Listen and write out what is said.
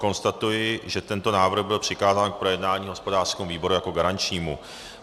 Konstatuji, že tento návrh byl přikázán k projednání hospodářskému výboru jako garančnímu.